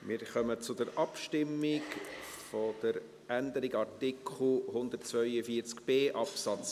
Wir kommen zur Abstimmung über die Änderung von Artikel 142b Absatz